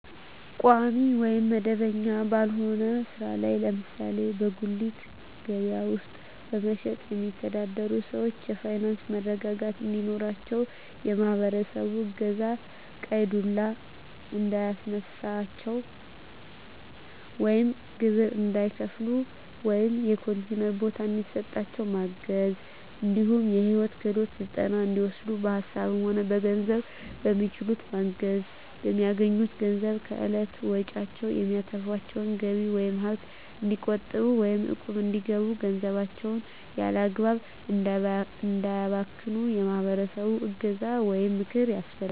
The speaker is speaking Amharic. ቋሚ ወይም መደበኛ ባልሆነ ስራ ላይ ለምሳሌ በጉሌት ከበያ ውስጥ በመሸትጥ የሚተዳደሩትን ሰዎች የፋይናንስ መረጋጋት እንዲኖራቸው የማህበረሰቡ እገዛ ቀይ ዱላ እንዳያስነሳቸው ወይም ግብር እንዳይከፍሉ ወይም የኮንቲነር ቦታ እንዲሰጣቸው ማገዝ እንዲሁም የሂወት ክሄሎት ስልጠና እንዲወስዱ በሀሳብም ሆነ በገንዘብ በሚችሉት ማገዝ፣ በሚያገኙት ገንዘብ ከእለት ወጭዎች የሚተርፋቸውን ገቢ ወይም ሀብት እንዲቆጥቡ ወይም እቁብ እንዲገቡ ገንዘባቸውን ያላግባብ እንዳያባክኑ የማህበረሰቡ እገዛ ወይም ምክር ያስፈልጋል።